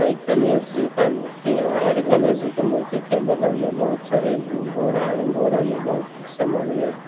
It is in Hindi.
एक गणेश जी का मूर्ति है और गणेश जी के मूर्ति के बगल में बहोत सारे बोरा है बोरा में बहोत कुछ समान भी है।